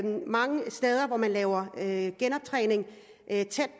mange steder hvor man laver laver genoptræning tæt